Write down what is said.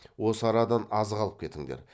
осы арадан азық алып кетіңдер